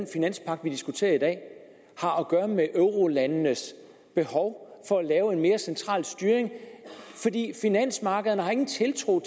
finanspagt vi diskuterer i dag har at gøre med eurolandenes behov for at lave en mere central styring fordi finansmarkederne ingen tiltro